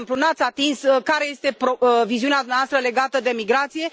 De exemplu, n ați atins care este viziunea dumneavoastră legată de migrație.